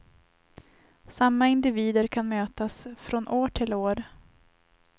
Samma individer kan mötas från år till år.